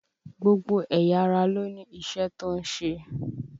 Gbogbo ẹ̀yà ara ló ní iṣẹ́ tó ń ṣe